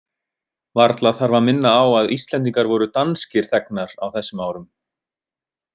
Varla þarf að minna á að Íslendingar voru danskir þegnar á þessum árum.